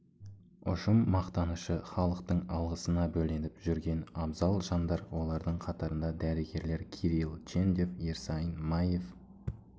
ұжым мақтанышы халықтың алғысына бөленіп жүрген абзал жандар олардың қатарында дәрігерлер кирилл чендев ерсайын маев